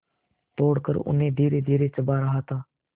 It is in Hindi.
तोड़कर उन्हें धीरेधीरे चबा रहा था